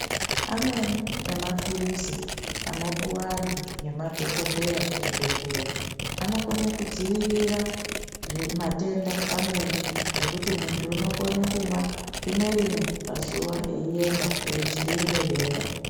Amweni emaphirisi, anopuwa antu ngemadhokodheya kuzvibhedhlere anokone kudzivirira zvimatenda, amweni ekuti muntu unokhone kumwa rimwe rimwe pazuwa eyiyenda eyidzivirire denda.